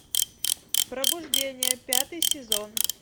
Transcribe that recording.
пробуждение пятый сезон